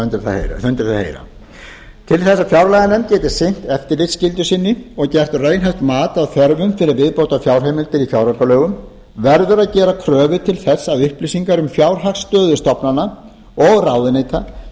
undir það heyra til þess að fjárlaganefnd geti sinnt eftirlitsskyldu sinni og gert raunhæft mat á þörfum fyrir viðbótarheimildir í fjáraukalögum verður að gera kröfu til þess að upplýsingar um fjárhagsstöðu stofnana og ráðuneyta